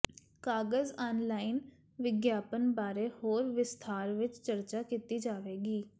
ਕਾਗਜ਼ ਆਨਲਾਈਨ ਵਿਗਿਆਪਨ ਬਾਰੇ ਹੋਰ ਵਿਸਥਾਰ ਵਿੱਚ ਚਰਚਾ ਕੀਤੀ ਜਾਵੇਗੀ